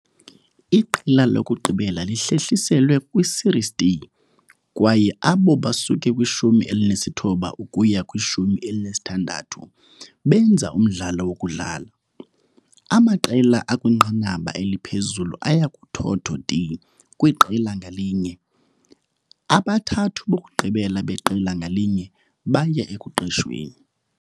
Iqela lokugqibela lihlehliselwe kwiSerie D kwaye abo basuke kwishumi elinesithoba ukuya kwishumi elinesithandathu benza umdlalo wokudlala. Amaqela akwinqanaba eliphezulu aya kuthotho D kwiqela ngalinye. Abathathu bokugqibela beqela ngalinye baya ekuqeshweni.